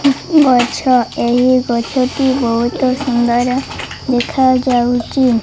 କେତେ ଗଛ ଏହି ଗଛ ଟି ବହୁତ୍ ସୁନ୍ଦର ଦେଖାଯାଉଛି।